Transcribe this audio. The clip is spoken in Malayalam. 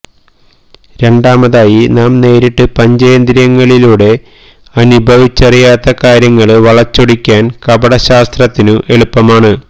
രണ്ടാമതായി നാം നേരിട്ട് പഞ്ചേന്ദ്രിയങ്ങളിലൂടെ അനുഭവിച്ചറിയത്ത കാര്യങ്ങള് വളച്ചൊടിക്കാന് കപടശാസ്ത്രത്തിനു എളുപ്പമാണ്